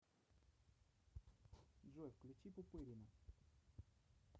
джой включи пупырина